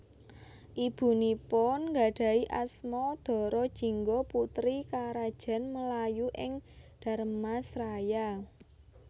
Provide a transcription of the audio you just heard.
Ibunipun nggadhahi asma Dara Jingga putri Karajan Melayu ing Dharmasraya